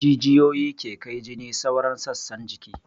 Jijiyoyi ke kai jini sauran sassan jiki